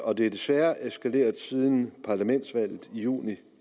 og det er desværre eskaleret siden parlamentsvalget i juni